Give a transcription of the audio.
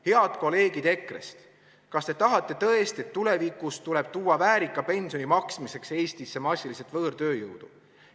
Head kolleegid EKRE-st, kas te tahate tõesti, et tulevikus tuleb tuua väärika pensioni maksmiseks Eestisse massiliselt võõrtööjõudu?